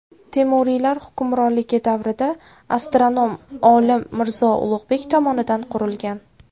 Temuriylar hukmronligi davrida astronom olim Mirzo Ulug‘bek tomonidan qurilgan.